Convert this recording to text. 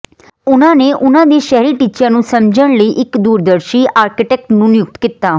ਉਨ੍ਹਾਂ ਨੇ ਉਨ੍ਹਾਂ ਦੇ ਸ਼ਹਿਰੀ ਟੀਚਿਆਂ ਨੂੰ ਸਮਝਣ ਲਈ ਇੱਕ ਦੂਰਦਰਸ਼ੀ ਆਰਕੀਟੈਕਟ ਨੂੰ ਨਿਯੁਕਤ ਕੀਤਾ